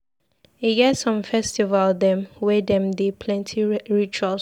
E get some festival dem wey dem dey plenty rituals.